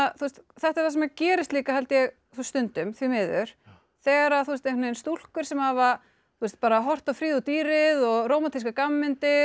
þetta er það sem gerist líka held ég stundum því miður þegar stúlkur sem hafa horft á Fríðu og dýrið og rómantískar gamanmyndir